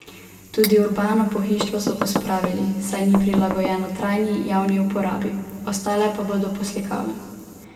Tudi urbano pohištvo so pospravili, saj ni prilagojeno trajni javni uporabi, ostale pa bodo poslikave.